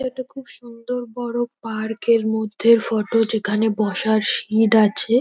একটা খুব সুন্দর বড় পার্ক -এর মধ্যের ফটো যেখানে বসার সিট আছে।